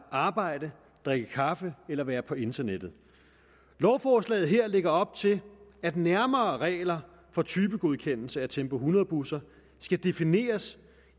at arbejde drikke kaffe eller være på internettet lovforslaget her lægger op til at nærmere regler for typegodkendelse af tempo hundrede busser skal defineres